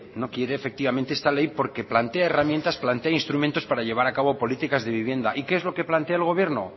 no quiere efectivamente esta ley porque plantea herramientas plantea instrumentos para llevar a cabo políticas de vivienda y qué es lo que plantea el gobierno